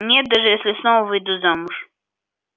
нет даже если снова выйду замуж